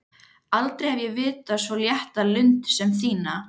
Aldrei hef ég vitað svo létta lund sem þína.